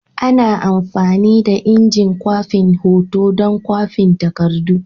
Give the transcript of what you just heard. Ana amfani da injin kwafin hoto don kwafin takardu.